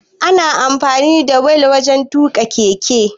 Ana amfani da wili wajan tuƙa keke